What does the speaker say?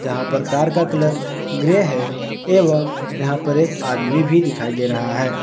यहाँ पर कार का कलर ग्रे है एवं यहां पर एक आदमी भी दिखाई दे रहा है।